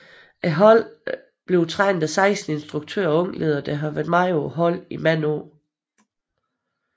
Holdet trænes af 16 instruktører og ungledere der har været med holdet i mange år